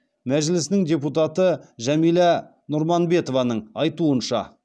мәжілісінің депутаты жәмилә нұрманбетованың айтуынша